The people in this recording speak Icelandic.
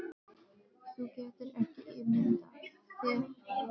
Þú getur ekki ímyndað þér hvað